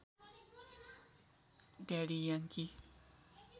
daddy Yangki